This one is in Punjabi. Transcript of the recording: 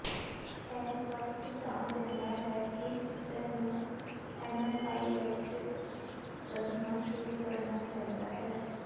ਇਹ ਸਭ ਸੁਝਾਅ ਦਿੰਦਾ ਹੈ ਕਿ ਕੁੱਤੇ ਨੂੰ ਐਨਾਫਾਈਲੈਕਸਿਕ ਸਦਮਾ ਸ਼ੁਰੂ ਕਰਨਾ ਚਾਹੀਦਾ ਹੈ